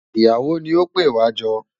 Ìyàwó ni ó pè wá jọ.